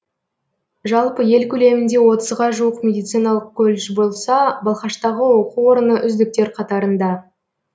жалпы ел көлемінде отызға жуық медициналық колледж болса балқаштағы оқу орны үздіктер қатарында